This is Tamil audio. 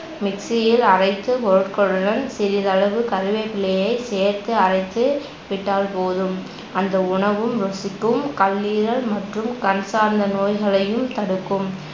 mixie யில் அரைத்து பொருட்களுடன் சிறிதளவு கருவேப்பிலையை சேர்த்து அரைத்துவிட்டால் போதும் அந்த உணவும் ருசிக்கும், கல்லீரல் மற்றும் கண் சார்ந்த நோய்களையும் தடுக்கும்